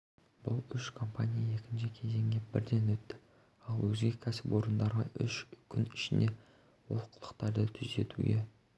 бұл үш компания екінші кезеңге бірден өтті ал өзге кәсіпорындарға үш күн ішінде олқылықтарды түзетуге